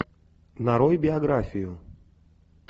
нарой биографию